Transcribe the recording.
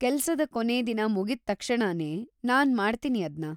ಕೆಲ್ಸದ ಕೊನೇ ದಿನ ಮುಗಿದ್ ತಕ್ಷಣನೇ ನಾನ್‌ ಮಾಡ್ತೀನಿ ಅದ್ನ.